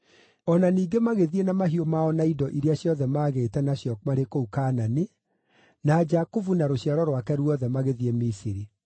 O na ningĩ magĩthiĩ na mahiũ mao na indo iria ciothe maagĩĩte nacio marĩ kũu Kaanani, na Jakubu na rũciaro rwake ruothe magĩthiĩ Misiri.